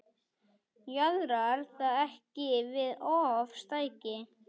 Jaðrar það ekki við ofstæki?